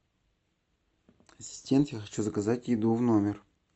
ассистент я хочу заказать еду в номер